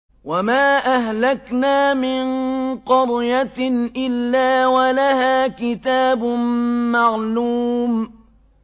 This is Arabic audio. وَمَا أَهْلَكْنَا مِن قَرْيَةٍ إِلَّا وَلَهَا كِتَابٌ مَّعْلُومٌ